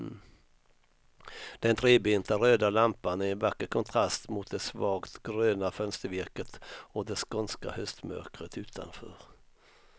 Den trebenta röda lampan är en vacker kontrast mot det svagt gröna fönstervirket och det skånska höstmörkret utanför.